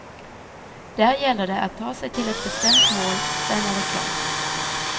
Där gäller det att ta sig till ett bestämt mål, sen är det klart.